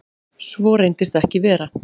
Svo reyndist ekki vera